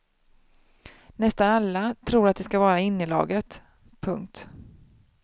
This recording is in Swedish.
Nästan alla tror att de ska vara i innelaget. punkt